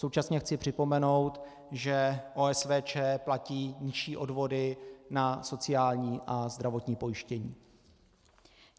Současně chci připomenout, že OSVČ platí nižší odvody na sociální a zdravotní pojištění.